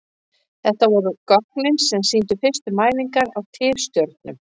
Þetta voru gögnin sem sýndu fyrstu mælingar á tifstjörnum.